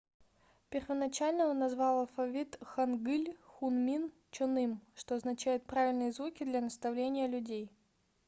первоначально он назвал алфавит хангыль хунмин чоным что означает правильные звуки для наставления людей